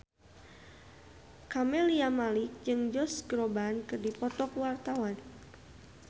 Camelia Malik jeung Josh Groban keur dipoto ku wartawan